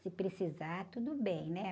Se precisar, tudo bem, né?